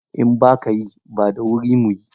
In ba ka yi, ba da wuri mu yi.